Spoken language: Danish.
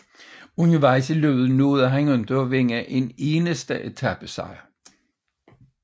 Undervejs i løbet nåede han ikke at vinde en eneste etapesejr